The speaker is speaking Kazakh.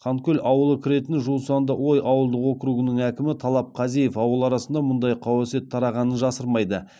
ханкөл ауылы кіретін жусандыой ауылдық округының әкімі талап қазиев ауыл арасында мұндай қауесет тарағанын жасырмайды